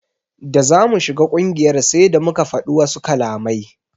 Da zamu shiga ƙungiyar sai da muka fadi wasu kalamai.